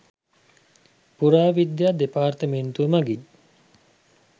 පුරාවිද්‍යා දෙපාර්තමේන්තුව මඟින්